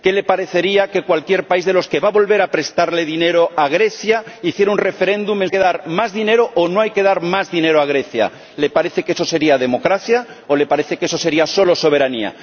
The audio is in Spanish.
¿Qué le parecería que cualquier país de los que va a volver a prestarle dinero a Grecia hiciera un referéndum en su territorio sobre si hay que dar más dinero o no hay que dar más dinero a Grecia? ¿Le parece que eso sería democracia o le parece que eso sería solo soberanía?